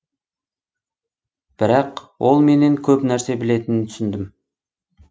бірақ ол менен көп нәрсе білетінін түсіндім